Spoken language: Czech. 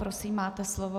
Prosím, máte slovo.